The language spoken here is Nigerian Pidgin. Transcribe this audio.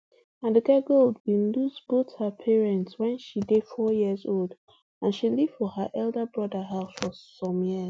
aduke gold bin lose both her parents wen she dey four years old and she live for her elder broda house for some years